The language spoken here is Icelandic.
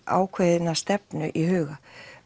ákveðna stefnu í huga